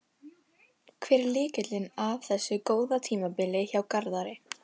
Hver er lykillinn að þessu góða tímabili hjá Garðari?